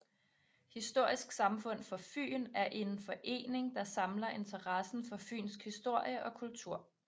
Historisk Samfund for Fyn er en forening der samler interessen for fynsk historie og kultur